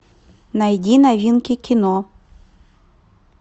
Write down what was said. найди новинки кино